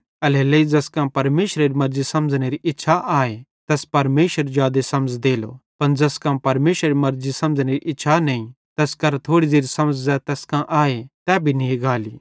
एल्हेरेलेइ ज़ैस कां परमेशरेरी मर्ज़ी समझ़नेरी इच्छा आए तैस परमेशर जादे समझ़ देलो पन ज़ैस कां परमेशरेरी मर्ज़ी समझ़नेरी इच्छा नईं तैस केरां थोड़ी ज़ेरि समझ़ ज़ै तैस कां आए तै भी नी गाली